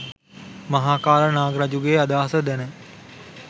මහාකාල නාරජුගේ අදහස දැන